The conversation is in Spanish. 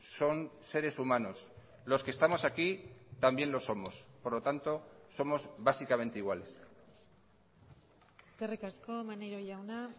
son seres humanos los que estamos aquí también lo somos por lo tanto somos básicamente iguales eskerrik asko maneiro jauna